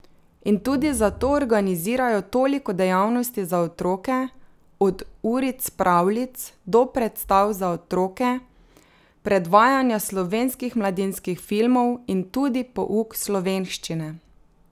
In tudi zato organizirajo toliko dejavnosti za otroke, od uric pravljic do predstav za otroke, predvajanja slovenskih mladinskih filmov in tudi pouk slovenščine.